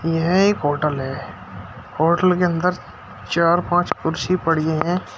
यह एक होटल है होटल के अंदर चार पांच कुर्सी पड़ी हैं।